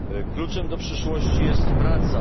Kluczem do przyszłości jest praca.